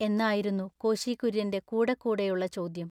എന്നായിരുന്നു കോശികുൎയ്യന്റെ കൂടെക്കൂടെയുള്ള ചോദ്ദ്യം.